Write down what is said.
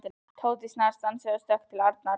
Tóti snarstansaði og stökk til Arnar.